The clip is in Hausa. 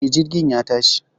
E, Jirgin ya tashi